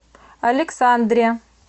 александре